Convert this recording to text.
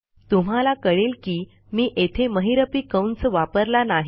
तुम्हाला कळेल की मी येथे महिरपी कंस वापरला नाही